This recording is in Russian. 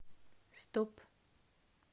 стоп